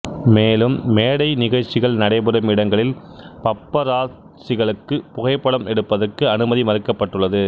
மேலும் மேடை நிகழ்ச்சிகள் நடைபெறும் இடங்களில் பப்பராத்சிகளுக்கு புகைப்படம் எடுப்பதற்கு அனுமதி மறுக்கப்பட்டுள்ளது